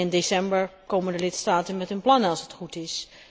In december komen de lidstaten met een plan, als het goed is.